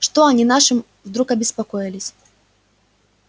что они нашим вдруг обеспокоились